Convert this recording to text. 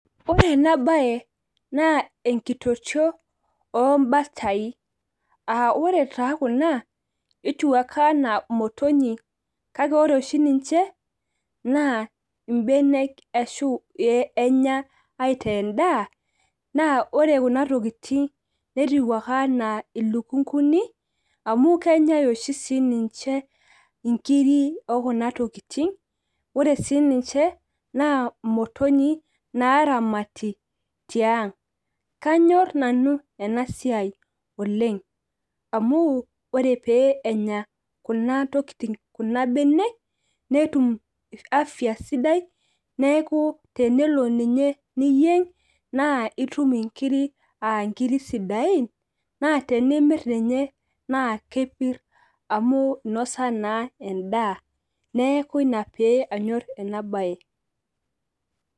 ore ena bae naa enkitotio oobatai, aa ore taa kuna netiu ake anaa imotonyik. kake ore oshi ninche naa imbenek ashu enya aitaa edaa, naa ore kuna tokitin netiu ake anaa iluknkuni, amu kenyae oshi sii ninche, inkiri oo kuna tokitin. ore sii ninche naa motonyi naaramati tiang' kanyor nanu ena siai oleng amu, ore pee enya kuna tokitin kuna benek, netum afya sidai neeku tenelo ninye niyieng nitum nkiri aa nkiri sidain. naa tenimir ninye naa kepir amu inosa ninye edaa. neeku ina pee anyor ena bae.